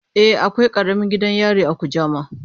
E, akwai karamin gidan yari a Kujama.